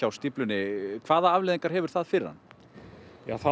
stíflunni hvaða afleiðingar hefur það fyrir hann þá